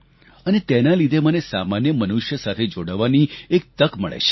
અને તેના લીધે મને સામાન્ય મનુષ્ય સાથે જોડાવાની એક તક મળે છે